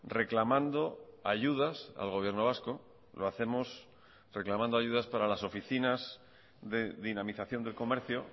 reclamando ayudas al gobierno vasco lo hacemos reclamando ayudas para las oficinas de dinamización del comercio